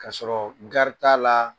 Ka'a sɔrɔ gari t'a la